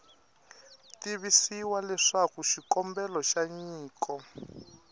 tivisiwa leswaku xikombelo xa nyiko